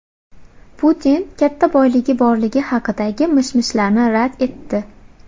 Putin katta boyligi borligi haqidagi mish-mishlarni rad etdi.